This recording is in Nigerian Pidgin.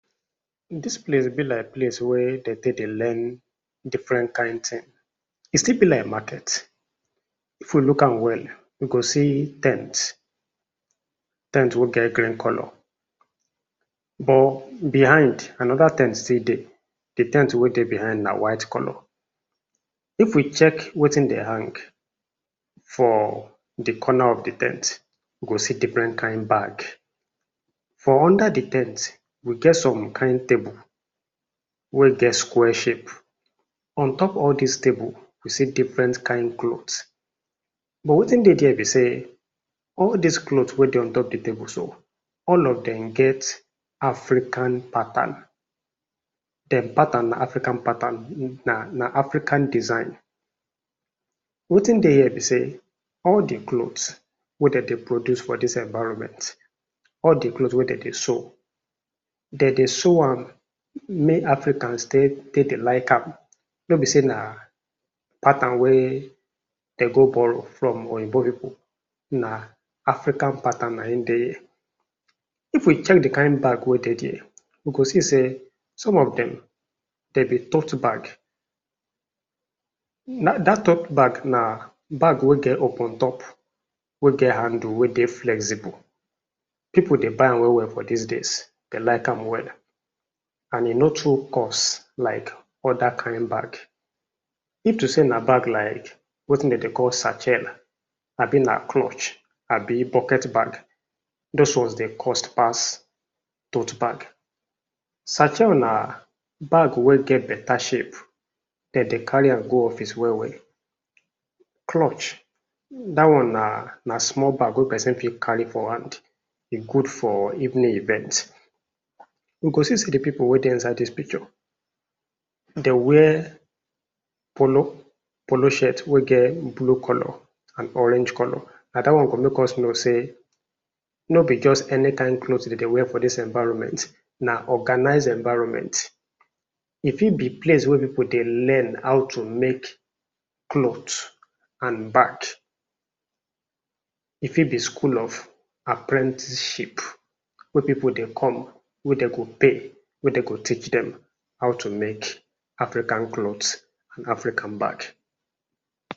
Dis place be like place wey dem dey take dey learn different kind thing e still be like market, if we look am well we go see ten t ten t wey get green colour but behind another ten t still dey, de ten t wey dey behind na white colour. If we check wetin de hang for di corner of di ten t we go see different kind bag, for under di ten t we get some kind table wey get square shape, on top all dis table we see different kind cloth but wetin dey there be sey all dis cloth wey dey on top dis table so all of dem get African pattern, dem pattern na African pattern na na African design. Wetin dey here be sey all di cloth wey dem dey produce for dis environment, all de cloth wey dem dey sew de dey sew am make Africans take take dey like am nor be sey na pattern wey dem go borrow from oyibo pipu na African pattern na im dey there. If we check di kind bag wey dey there we go see sey some of dem dem be tote bag, na dat tote bag na bag wey get open top, wey get handle, wey dey flexible, pipu dey buy am well well for dis days, dem like am wella and e nor too cost like other kind bag. If to sey na bag like wetin de dey call satchel abi na clutch abi bucket bag, those ones dey cost pass tote bag. Satchel na bag wey get better shape, de dey carry am go office well well. Clutch dat one na na small bag wey person fit carry for hand, e good for evening event. We go see sey de pipu wey dey inside dis picture dem wear polo, polo shirt wey get blue colour and orange colour, na dat one go make us know sey nor be just any kind cloth de dey wear for dis environment, na organized environment. If fit be place wey pipu dey learn how to make cloth and bag, e fit be school of apprenticeship wey pipu go come wey dem go pay wey de go teach dem how to make African cloth and African bag.